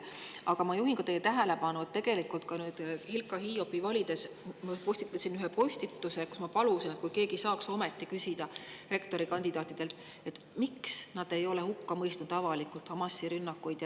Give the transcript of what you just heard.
Aga ma juhin teie tähelepanu sellele, et ma Hilkka Hiiopi valimise ajal tegin ühe postituse, kus ma palusin, et kas keegi saaks ometi küsida rektorikandidaatidelt, miks nad ei ole avalikult hukka mõistnud Hamasi rünnakuid.